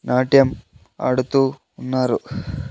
నాట్యం ఆడుతూ ఉన్నారు .